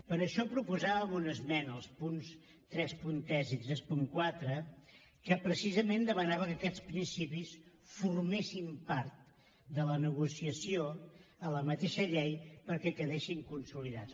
per això proposàvem una esmena als punts trenta tres i trenta quatre que precisament demanava que aquests principis formessin part de la negociació a la mateixa llei perquè quedessin consolidats